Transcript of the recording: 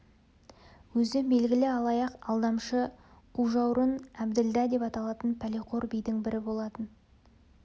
өзі белгілі алаяқ алдамшы қужауырын әбділдә деп аталатын пәлеқор бидің бірі болатын